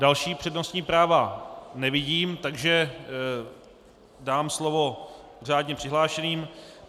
Další přednostní práva nevidím, takže dám slovo řádně přihlášeným.